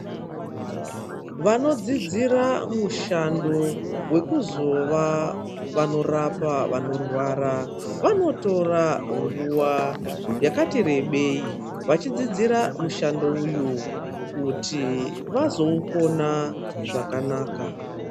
Vanodzidzira mushando, wekuzova vanorapa vanorwara, vanotora nguwa yakati rebei, vachidzidzira mushando uyu, kuti vazoukona zvakanaka.